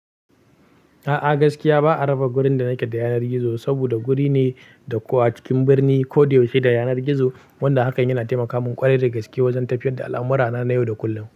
A'a gaskiya ba a raba gurin da na ke da yanar gizo saboda guri ne da ko a cikin birni ko da yaushe da yanar gizo wanda hakan yana taimaka mun kware da gaske wajen tafiyar da al'amura na yau da kullum.